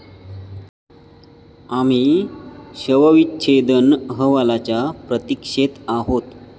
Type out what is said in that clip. आम्ही शवविच्छेदन अहवालाच्या प्रतीक्षेत आहोत.